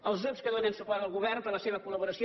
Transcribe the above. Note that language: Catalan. als grups que donen suport al govern per la seva col·laboració